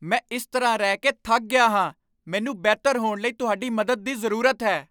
ਮੈਂ ਇਸ ਤਰ੍ਹਾਂ ਰਹਿ ਕੇ ਥੱਕ ਗਿਆ ਹਾਂ! ਮੈਨੂੰ ਬਿਹਤਰ ਹੋਣ ਲਈ ਤੁਹਾਡੀ ਮਦਦ ਦੀ ਜ਼ਰੂਰਤ ਹੈ!